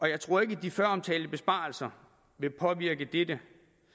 jeg tror ikke at de føromtalte besparelser vil påvirke dette